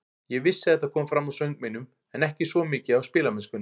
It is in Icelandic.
Ég vissi að þetta kom fram á söng mínum, en ekki svo mjög á spilamennskunni.